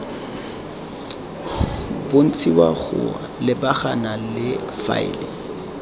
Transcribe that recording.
bontshiwa go lebagana le faele